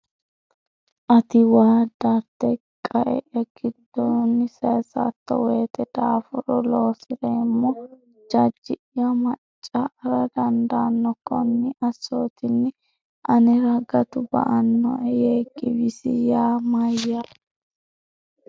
Ati waa darte qae’ya giddonni saysatto woyte daafure loosi’roommo jajji’ya manca”ara dandaanno Konni assootinni anera gatu ba”annoe,” yee giwisi yaa mayaate?